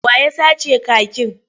Wa ya sace kakin?